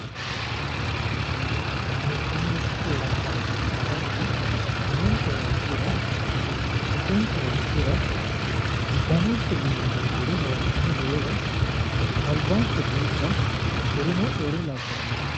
Meessaneeti keeraanchimma agadha umonke hayiishira bisonke hayiishira uddanonke aana noo xure hayiishine hoola albanke buudha kurino wole labbanore.